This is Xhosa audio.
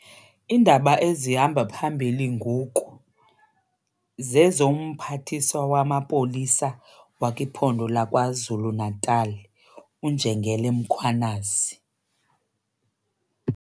Iindaba ezihamba phambili ngoku zezoMphathiswa waMapolisa wakwiphondo lakwaZulu Natal uNjengele Mkhwanazi.